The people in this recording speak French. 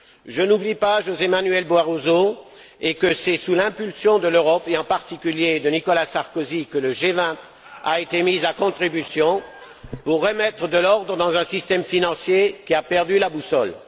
Je n'oublie pas José Manuel Barroso et que c'est sous l'impulsion de l'Europe, et en particulier de Nicolas Sarkozy, que le G20 a été mis à contribution pour remettre de l'ordre dans un système financier qui a perdu la boussole.